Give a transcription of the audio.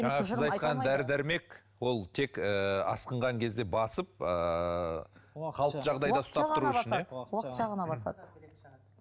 жаңағы сіз айтқан дәрі дәрмек ол тек ы асқынған кезде басып ыыы қалыпты жағдайда ұстап тұру үшін иә уақытша ғана басады